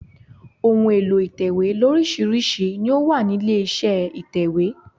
Ohun èlò ìtẹ̀wé lóríṣirísi ni ó wà nílé iṣẹ́ ìtẹ̀wẹ́.